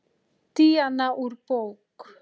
Díana úr bók.